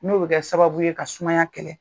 N'obɛ kɛ sababu ye ka sumaya kɛlɛ.